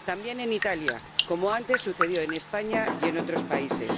También en Italia, como antes sucedió en España y en otros países.